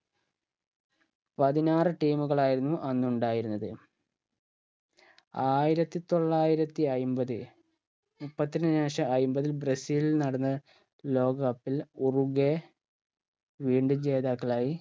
പതിനാറ് team കളായിരുന്നു അന്നുണ്ടായിരുന്നത് ആയിരത്തി തൊള്ളായിരത്തി അയ്മ്പത് മുപ്പത്തിന് ശേഷം അയ്മ്പതിൽ ബ്രസീലിൽ നടന്ന ലോക cup ൽ ഉറുഗെ വീണ്ടും ജേതാക്കളായി